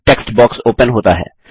एक text box open होता है